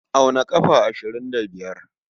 Auna ƙafa ashirin da biyar.